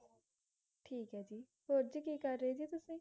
ਠੀਕ ਹੈ ਜੀ ਹੋਰ ਜੀ ਕੀ ਕਰ ਰਹੇ ਜੀ ਕੀ ਕਰ ਰਹੇ ਜੀ ਤੁਸੀਂ